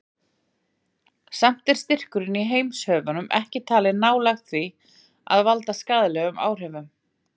Samt er styrkurinn í heimshöfunum ekki talinn nálægt því að valda skaðlegum áhrifum.